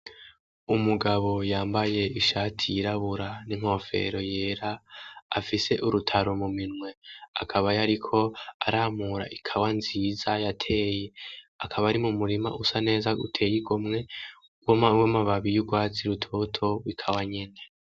Umugabo yambaye ishati yirabura n'inkofero yera, afise urutaro muminwe, akaba yariko aramura ikawa nziza yateye, akaba ari mumurima usa neza uteye igomwe w'amababi y'urwatsi rutoto w'ikawa nyene.